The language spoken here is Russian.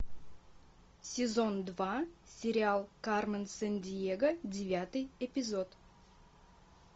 сезон два сериал кармен сандиего девятый эпизод